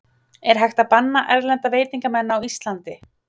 Er hægt að banna erlenda veitingamenn á Íslandi?